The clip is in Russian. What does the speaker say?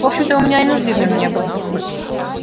в общем-то у меня и нужды в нём не было